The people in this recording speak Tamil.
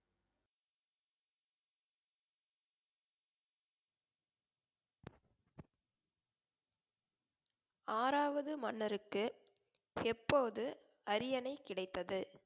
ஆறாவது மன்னருக்கு எப்போது அரியணை கிடைத்தது?